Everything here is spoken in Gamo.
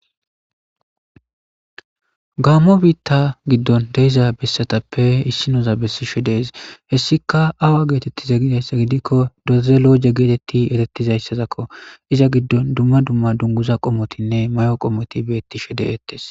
gaammo biitta giddon deiza bessatappe issi noza bessishe dees hessika awa geetettiza gidayssa gidikko dazeloje geetetti erettizayssazakko iza giddon dumma dumma dunguza qomotinne may7o qomoti beetti she deettes